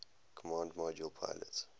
command module pilot